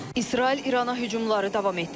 İsrail İrana hücumları davam etdirir.